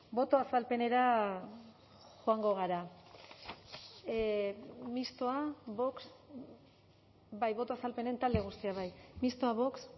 boto azalpenera joango gara mistoa vox bai boto azalpenen talde guztiak bai mistoa vox